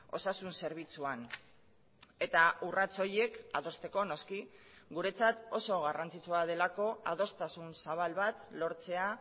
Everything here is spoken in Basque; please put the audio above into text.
osasun zerbitzuan eta urrats horiek adosteko noski guretzat oso garrantzitsua delako adostasun zabal bat lortzea